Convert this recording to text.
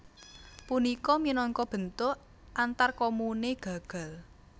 Punika minangka bentuk antarkomune gagal